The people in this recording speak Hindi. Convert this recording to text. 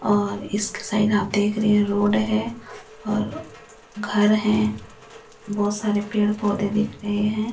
और इसके साइड आप देख रहे हैं रोड है और घर है बहुत सारे पेड़ पौधे दिख रहे हैं।